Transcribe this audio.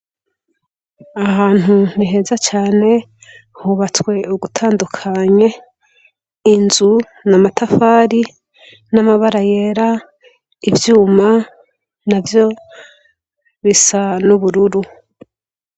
Aha hantu ni heza cane, hubatswe ugutandukanye. Inzu ni amatafari n,amabara yera, ivyuma navyo bisa n'ubururu.